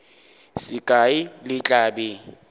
se kae le tla be